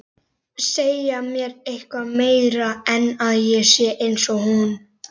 Segja mér eitthvað meira en að ég sé einsog hún.